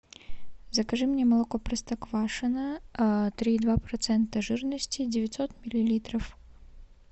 закажи мне молоко простоквашино три и два процента жирности девятьсот миллилитров